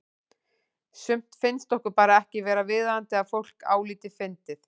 Sumt finnst okkur bara ekki vera viðeigandi að fólk álíti fyndið.